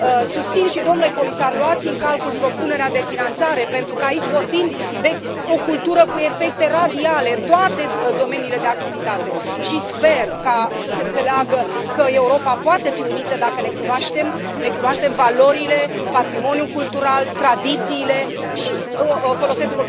Susțin și, domnule comisar, luați în calcul propunerea de finanțare pentru că aici vorbim de o cultură cu efecte radiale în toate domeniile de activitate și sper să se înțeleagă că Europa poate fi unită dacă ne cunoaștem valorile, patrimoniul cultural, tradițiile și, folosesc